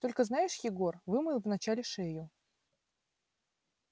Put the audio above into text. только знаешь егор вымой вначале шею